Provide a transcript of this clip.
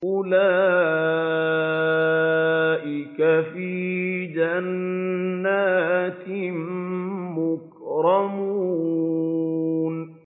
أُولَٰئِكَ فِي جَنَّاتٍ مُّكْرَمُونَ